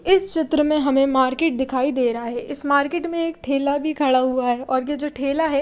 इस चित्र में हमें मार्केट दिखाई दे रहा है इस मार्केट में एक ठेला भी खड़ा हुआ है और ये जो ठेला है--